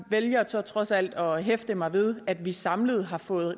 vælger så trods alt at hæfte mig ved at vi samlet har fået